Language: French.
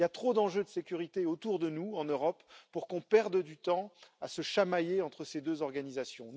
Il y a trop d'enjeux de sécurité autour de nous en Europe pour qu'on perde du temps à se chamailler entre ces deux organisations.